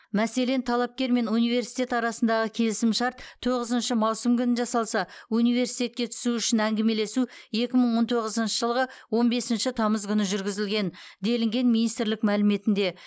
мәселен талапкер мен университет арасында келісімшарт тоғызыншы маусым күні жасалса университетке түсу үшін әңгімелесу екі мың он тоғызыншы жылғы он бесінші тамыз күні жүргізілген делінген министрлік мәліметінде